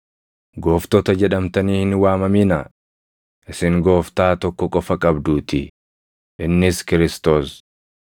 ‘Gooftota’ jedhamtanii hin waamaminaa; isin Gooftaa tokko qofa qabduutii; innis Kiristoos.